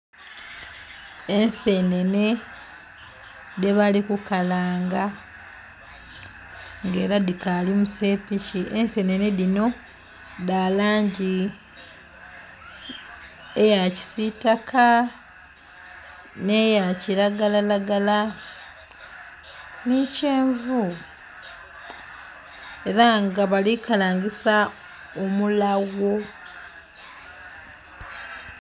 Ensenene dhe bali ku kalanga nga era dhikali musepiki ensenene dhino dha langi eya kisitaka ne ya kiragalalagala ni kyenvu era nga bali kalangisa omulagho.